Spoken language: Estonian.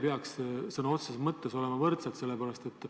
Kas tingimused ei peaks võrdsed olema?